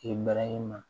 I barahima